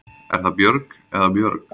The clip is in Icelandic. Er það Björg eða Björg?